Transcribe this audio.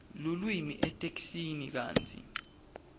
lulwimi etheksthini kantsi